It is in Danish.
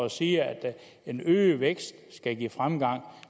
og siger at den øgede vækst skal give fremgang